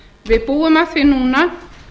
við búum að því núna